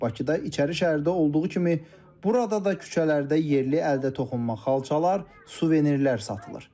Bakıda İçəri şəhərdə olduğu kimi burada da küçələrdə yerli əldə toxunma xalçalar, suvenirlər satılır.